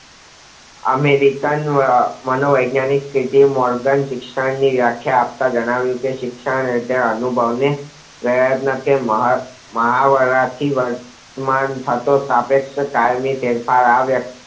American માનો વૈજ્ઞાનિક સુધી મોરધાન શિક્ષણ વ્યાખ્યા આપતા જાણાવીયુ કે શિક્ષણ એ અનુભવ ને પ્રયત્ન કે મહાવરા થી વર્તમાન થતો સાપેક્ષ કાયમી આ